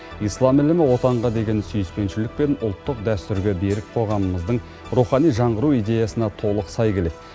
ислам ілімі отанға деген сүйіспеншілік пен ұлттық дәстүрге берік қоғамымыздың рухани жаңғыру идеясына толық сай келеді